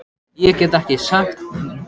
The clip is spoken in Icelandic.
Ég hef ekki sagt að ég hafni því.